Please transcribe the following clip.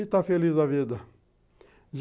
E está feliz da vida.